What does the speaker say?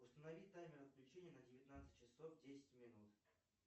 установить таймер отключения на девятнадцать часов десять минут